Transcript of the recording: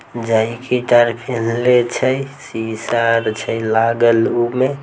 जाए की कार पेन्हले छे शीशा त छे लागल उमें।